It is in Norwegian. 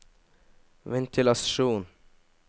ventilasjon